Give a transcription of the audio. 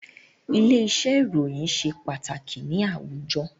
Ilé-iṣẹ́ ìròyìn ṣe pàtàkì ni àwùjọ